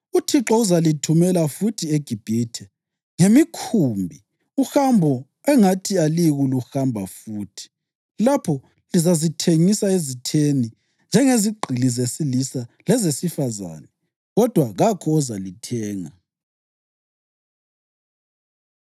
UThixo uzalithumela futhi eGibhithe ngemikhumbi uhambo engathi aliyikuluhamba futhi. Lapho lizazithengisa ezitheni njengezigqili zesilisa lezesifazane, kodwa kakho ozalithenga.”